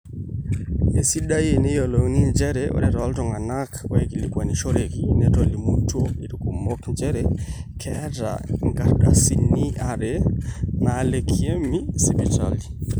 eisidai eniyiolou njere ore tooltung'anak ooikilikuanishoreki netolimutuo irkumok njere keeta inkardasini are naalakiemi sipitali